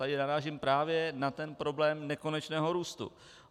Tady narážím právě na ten problém nekonečného růstu.